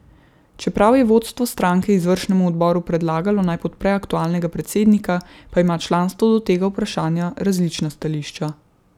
Čeprav je vodstvo stranke izvršnemu odboru predlagalo, naj podpre aktualnega predsednika, pa ima članstvo do tega vprašanja različna stališča.